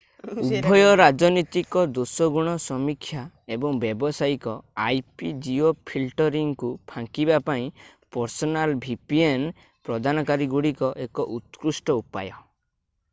ଉଭୟ ରାଜନୈତିକ ଦୋଷଗୁଣ ସମୀକ୍ଷା ଏବଂ ବ୍ୟାବସାୟିକ ip-ଜିଓଫିଲ୍ଟରିଂକୁ ଫାଙ୍କିବା ପାଇଁ personal vpn virtual private network ପ୍ରଦାନକାରୀଗୁଡ଼ିକ ଏକ ଉତ୍କୃଷ୍ଟ ଉପାୟ।